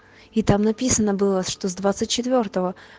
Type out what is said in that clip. и там написано было что с двадцать четвёртого